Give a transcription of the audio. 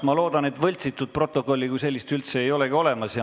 Ma loodan, et võltsitud protokolli kui sellist ei olegi olemas.